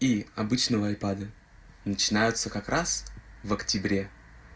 и обычного айпада начинается как раз в октябре